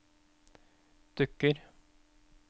dukker